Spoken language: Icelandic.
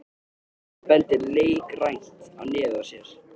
Hann bendir leikrænt á nefið á sér.